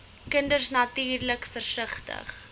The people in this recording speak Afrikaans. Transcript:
kinders natuurlik versigtig